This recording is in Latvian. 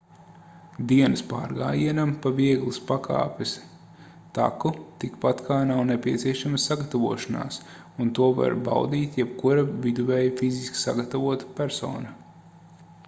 dienas pārgājienam pa vieglas pakāpes taku tikpat kā nav nepieciešama sagatavošanās un to var baudīt jebkura viduvēji fiziski sagatavota persona